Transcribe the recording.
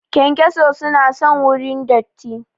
Kyankyaso su na son wurin datti